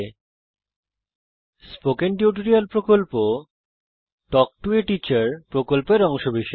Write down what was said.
আমি spoken tutorial প্রকল্পকে ধন্যবাদ জানাই যা তাল্ক টো a টিচার প্রকল্পের অংশবিশেষ